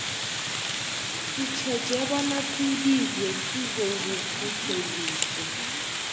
sitjheje bona sibizwe sizokuphutheliswa